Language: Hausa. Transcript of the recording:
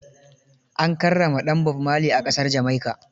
An karrama ɗan Bob Marley a ƙasar Jamaica.